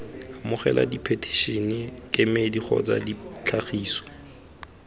amogela diphetišene kemedi kgotsa ditlhagiso